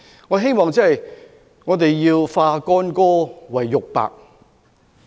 我希望我們化干戈為玉帛。